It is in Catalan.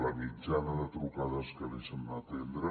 la mitjana de trucades que deixen d’atendre